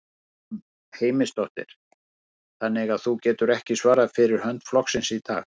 Guðrún Heimisdóttir: Þannig að þú getur ekki svarað fyrir hönd flokksins í dag?